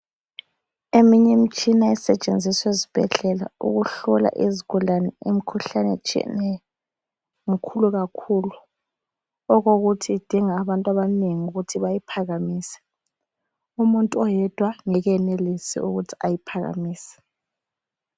Eminyi mtshina esetshenzisw' ezibhedlela ukuhlola izigulane imkhuhlani etshiyeneyo, mkhulu kakhulu. Okokuthi idinga abantu abanengi ukuthi bayiphakamise. Umuntu oyedwa ngeke eyenelise ukuthi ayiphakamise.